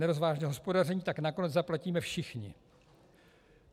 Nerozvážné hospodaření tak nakonec zaplatíme všichni.